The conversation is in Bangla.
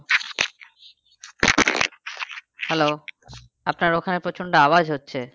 Hello আপনার ওখানে প্রচন্ড আওয়াজ হচ্ছে